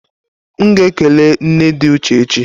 M ga ekele nne di Uche echi.